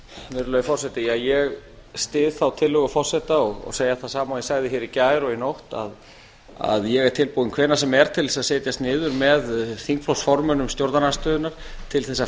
virðulegi forseti ég styð þá tillögu forseta og segi það sama og ég sagði hér í gær og í nótt ég er tilbúinn hvenær sem er til þess að setjast niður með þingflokksformönnum stjórnarandstöðunnar til að